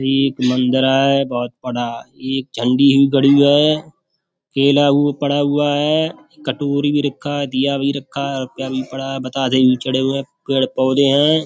एक मंदिर है बहोत बड़ा एक झंडी भी गड़ी है केला भी पड़ा हुआ है कटोरी भी रखा है दीया भी रखा है रूपया भी पड़ा है बताशे भी चढ़े हुए है पेड़ पौधे है।